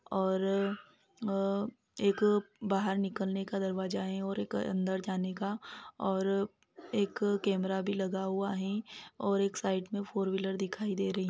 और अ एक बाहर निकलने का दरवाजा हैं और एक अंदर जाने का और एक कैमरा भी लगा हुआ हैं और एक साइड में फोर व्हीलर दिखाई दे रही--